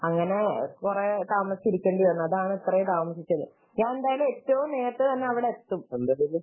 അങ്ങനെ കുറെ താമസിക്കേണ്ടി വന്നു അതാണ് ഇത്രയും താമസിച്ചത് ഞാൻ എന്തായാലും എത്രയും നേരെത്തെ തന്നെ അവിടെ എത്തും